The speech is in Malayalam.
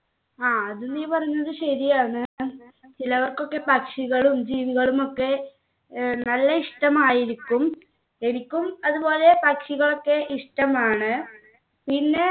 ആ അത് നീ പറഞ്ഞത് ശെരിയാണ് ചിലർക്കൊക്കെ പക്ഷികളും ജീവികളും ഒക്കെ ഏർ നല്ല ഇഷ്ടമായിരിക്കും എനിക്കും അതുപോലെ പക്ഷികൾ ഒക്കെ ഇഷ്ടമാണ് പിന്നെ